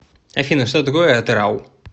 афина что такое атырау